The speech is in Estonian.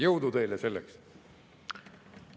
Jõudu teile selleks!